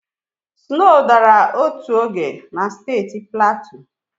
Snow dara otu oge na steeti Platu.